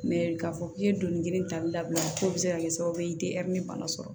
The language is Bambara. k'a fɔ k'i ye doni girin ta dabila k'o bɛ se ka kɛ sababu ye i tɛ bana sɔrɔ